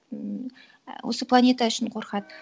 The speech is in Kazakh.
ммм ә осы планета үшін қорқады